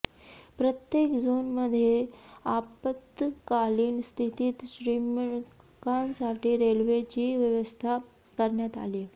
प्रत्येक झोनमध्ये आपत्कालीन स्थितीत श्रमिकांसाठी रेल्वेची व्यवस्था करण्यात आलीय